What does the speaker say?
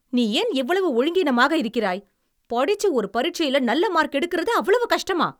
நீ ஏன் இவ்வளவு ஒழுங்கீனமாக இருக்கிறாய்? படிச்சு ஒரு பரிட்சையில நல்ல மார்க் எடுக்குறது அவ்வளவு கஷ்டமா?